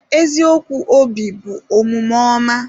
Eziokwu obi bụ omume ọma.